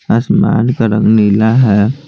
आसमान का रंग नीला है।